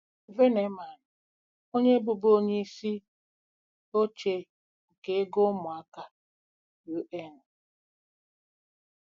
VENEMAN, Onye bụbu onye isi oche nke ego ụmụaka UN.